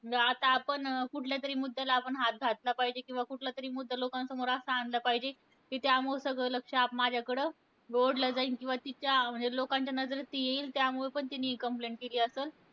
आता आपण अं कुठल्यातरी मुद्द्याला आपण हात घातला पाहिजे. किंवा कुठलातरी मुद्दा लोकांसमोर असा आणला पाहिजे. कि त्यामुळे सगळं लक्ष आप माझ्याकडे ओढलं जाईल. किंवा तिच्या म्हणजे लोकांच्या नजरेस येईल. त्यामुळे पण तिने हि complaint केली असलं.